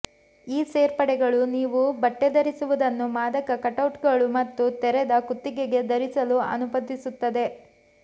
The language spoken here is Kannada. ಈ ಸೇರ್ಪಡೆಗಳು ನೀವು ಬಟ್ಟೆ ಧರಿಸುವುದನ್ನು ಮಾದಕ ಕಟ್ಔಟ್ಗಳು ಮತ್ತು ತೆರೆದ ಕುತ್ತಿಗೆಗೆ ಧರಿಸಲು ಅನುಮತಿಸುತ್ತದೆ